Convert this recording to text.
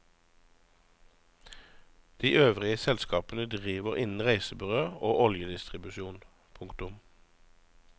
De øvrige selskapene driver innen reisebyrå og oljedistribusjon. punktum